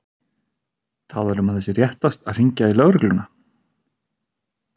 Talar um að það sé réttast að hringja í lögregluna.